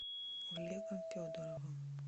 олегом федоровым